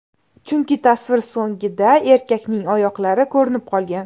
Chunki tasvir so‘nggida erkakning oyoqlari ko‘rinib qolgan.